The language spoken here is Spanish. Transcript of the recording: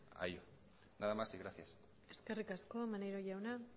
a ello nada más y gracias eskerrik asko maneiro jauna